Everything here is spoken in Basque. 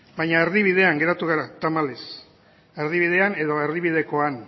baina erdibidean geratu gara tamalez erdibidean edo erdibidekoan